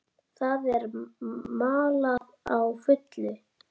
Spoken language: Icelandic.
Það er malað á fullu.